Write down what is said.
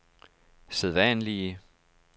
sædvanlige